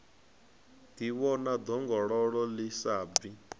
ḓivhona ḓongololo ḽi sa bvi